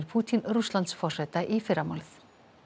Pútín Rússlandsforseta í fyrramálið